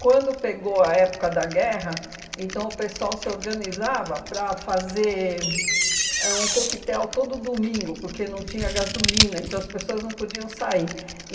Quando pegou a época da guerra, então o pessoal se organizava para fazer ãh um coquetel todo domingo, porque não tinha gasolina, então as pessoas não podiam sair.